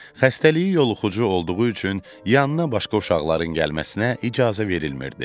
Xəstəliyi yoluxucu olduğu üçün yanına başqa uşaqların gəlməsinə icazə verilmirdi.